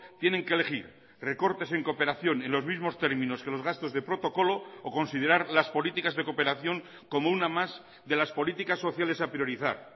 tienen que elegir recortes en cooperación en los mismos términos que los gastos de protocolo o considerar las políticas de cooperación como una más de las políticas sociales a priorizar